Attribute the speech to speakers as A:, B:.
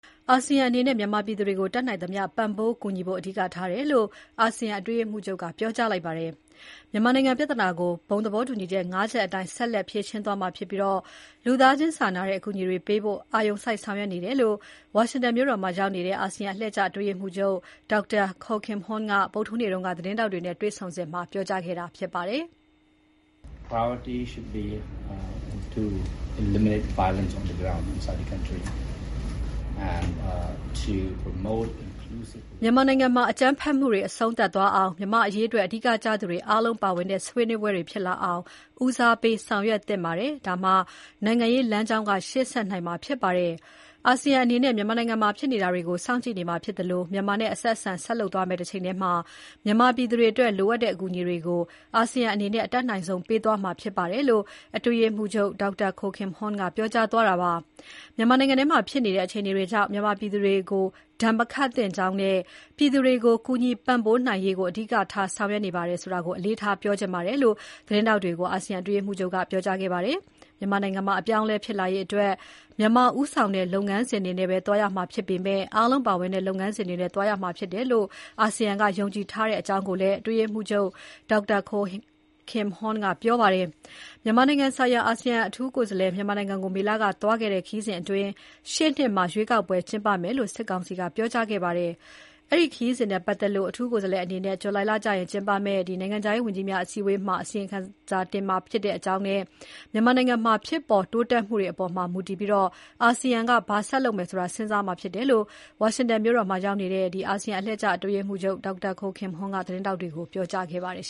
A: အာဆီယံအနေနဲ့ မြန်မာပြည်သူတွေကို တတ်နိုင်သမျှ ပံ့ပိုးကူညီဖို့ အဓိကထားတယ်လို့ အာဆီယံအတွင်းရေးမှူးချုပ်က ပြောကြားလိုက်ပါတယ်။ မြန်မာနိုင်ငံပြဿနာကို အာဆီယံဘုံသဘောတူညီချက် ၅ ချက်အတိုင်း ဆက်လက် ဖြေရှင်းသွားမှာဖြစ်ပြီး လူသားချင်းစာနာတဲ့ အကူအညီတွေပေးဖို့ အာရုံစိုက်ဆောင်ရွက်နေတယ်လို့ ဝါရှင်တန် ဒီစီမြို့တော်မှာရောက်နေတဲ့ အာဆီယံ အတွင်းရေးမှူးချုပ် Dr. Kao Kim Hourn က မနေ့ ဇွန်လ ၁၂ ရက်နေ့က သတင်းထောက်တွေနဲ့တွေ့ဆုံစဉ်မှာ ပြောကြားခဲ့တာ ဖြစ်ပါတယ်။ "မြန်မာနိုင်ငံထဲမှာ အကြမ်းဖက်မှုတွေ အဆုံးသတ်သွားအောင်၊ မြန်မာ့အရေးအတွက် အဓိကကျသူတွေအားလုံးပါဝင်တဲ့ ဆွေးနွေးပွဲတွေဖြစ်လာအောင် ဦးစားပေးဆောင်ရွက်သင့်ပါတယ်။ ဒါမှ နိုင်ငံရေးလမ်းကြောင်းက ရှေ့ဆက်နိုင်မှာဖြစ်ပါတယ်။ အာဆီယံအနေနဲ့ မြန်မာနိုင်ငံမှာ ဖြစ်နေတာတွေကို စောင့်ကြည့်နေမှာဖြစ်သလို မြန်မာနဲ့ အဆက်အဆံ ဆက်လုပ်သွားမယ့်တချိန်ထဲမှာ မြန်မာပြည်သူတွေအတွက် လိုအပ်တဲ့ အကူအညီတွေကို အာဆီယံအနေနဲ့ အတတ်နိုင်ဆုံး ပေးသွားမှာဖြစ်ပါတယ်" - လို့ အာဆီယံ အတွင်းရေးမှူးချုပ် Dr. Kao Kim Hourn ကပြောသွားတာပါ။ မြန်မာနိုင်ငံမှာ ဖြစ်နေတဲ့ အခြေအနေတွေကြောင့် မြန်မာပြည်သူတွေကို ဒဏ်မခတ်သင့်ကြောင်းနဲ့ ပြည်သူတွေကို ကူညီပံ့ပိုးနိုင်ရေးကို အဓိကထား ဆောင်ရွက်နေပါတယ်ဆိုတာ အလေးထားပြောချင်တယ်လို့ သတင်းထောက်တွေကို အာဆီယံအတွင်းရေးမှူးချုပ်က ပြောကြားသွားပါတယ်။ မြန်မာနိုင်ငံမှာ အပြောင်းအလဲ ဖြစ်လာရေးအတွက် မြန်မာဦးဆောင်တဲ့ လုပ်ငန်းစဉ်တွေနဲ့ပဲ သွားရမှာဖြစ်ပေမဲ့ အားလုံး ပါဝင်တဲ့ လုပ်ငန်းစဉ်နဲ့သွားရမယ်လို့ အာဆီယံက ယုံကြည်ထားတယ်လို့လည်း အတွင်းရေးမှူးချုပ် Dr. Kao Kim Hourn ကပြောပါတယ်။ မြန်မာနိုင်ငံဆိုင်ရာ အာဆီယံ အထူးကိုယ်စားလှယ် မြန်မာနိုင်ငံကို မေလက သွားခဲ့တဲ့ ခရီးစဉ်အတွင်း ရှေ့နှစ်မှာ ရွေးကောက်ပွဲကျင်းပမယ်လို့ စစ်ကောင်စီက ပြောကြားခဲ့ပါတယ်။ အဲဒီခရီးစဉ်နဲ့ပတ်သက်လို့ အထူးကိုယ်စားလှယ်အနေနဲ့ ဇူလိုင်လအတွင်းကျင်းပမယ့် အာဆီယံ နိုင်ငံခြားရေးဝန်ကြီးများ အစည်းအဝေးကျရင် အစီရင်ခံတင်ပြမှာဖြစ်ကြောင်းနဲ့ မြန်မာနိုင်ငံက ဖြစ်ပေါ်တိုးတက်မှုတွေအပေါ် မူတည်ပြီး အာဆီယံက ဘာဆက်လုပ်မယ်ဆိုတာ စဉ်းစားမှာဖြစ်တယ်လို့ ဝါရှင်တန် ဒီစီ မြို့တော်မှာရောက်နေတဲ့ အာဆီယံ အတွင်းရေးမှူးချုပ် Dr. Kao Kim Hourn က သတင်းထောက်တွေကို ပြောကြားသွားပါတယ်